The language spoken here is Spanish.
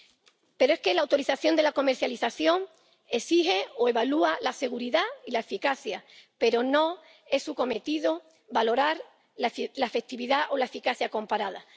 Y es que la autorización de la comercialización exige o evalúa la seguridad y la eficacia, pero no es su cometido valorar la efectividad o la eficacia comparada.